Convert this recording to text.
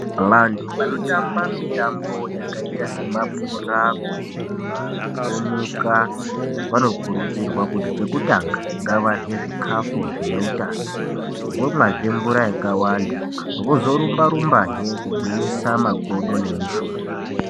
Vantu vanotamba mitambo yakaita semabhora, kurumba, kutomuka vanokurudzirwa kuti chekutanga ngavarye zvikafu zvine utano. Vomwazve mvura yakawanda vozorumba-rumbazve kugwinyisa makodo nemushuna.